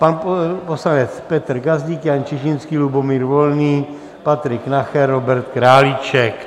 Pan poslanec Petr Gazdík, Jan Čižinský, Lubomír Volný, Patrik Nacher, Robert Králíček.